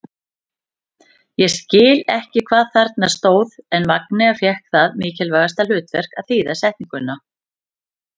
Ég skildi ekki hvað þarna stóð en Magnea fékk það mikilvæga hlutverk að þýða setninguna.